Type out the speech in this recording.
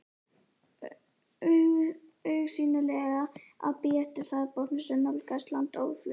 Augsýnilega að bíða eftir hraðbátnum sem nálgaðist land óðfluga.